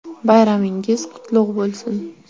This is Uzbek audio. Bayramingiz qutlug‘ bo‘lsin!